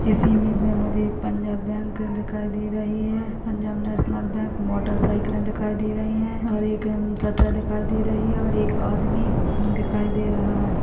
इस इमेज मे मुझे एक पंजाब बैंक दिखाई दे रही है Punjab national bank motor cycles दिखाई दे रही है और एक उम शटर दिखाई दे रही है और एक आदमी दिखाई दे रहा है।